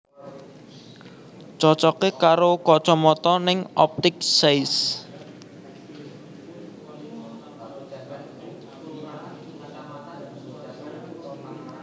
Cocoke karo kocomoto ning Optik Seis